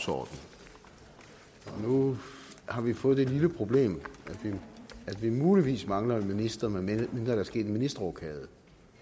og nu har vi fået det lille problem at vi muligvis mangler en minister medmindre der er sket en ministerrokade